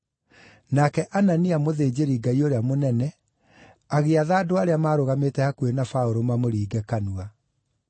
Nake Anania mũthĩnjĩri-Ngai ũrĩa mũnene, agĩatha andũ arĩa maarũgamĩte hakuhĩ na Paũlũ mamũringe kanua.